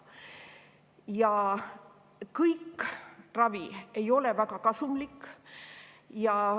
Ja kogu ravi ei ole väga kasumlik.